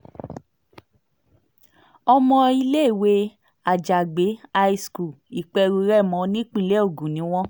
ọmọ iléèwé àjàgbé high school ìperú-rèmọ nípínlẹ̀ ogun ni wọ́n